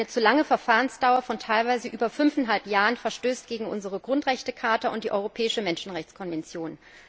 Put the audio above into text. Eine zu lange Verfahrensdauer von teilweise über fünfeinhalb Jahren verstößt gegen unsere Grundrechtecharta und die Europäische Menschenrechtskonvention.